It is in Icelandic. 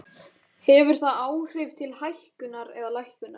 Hefur það áhrif til hækkunar eða lækkunar?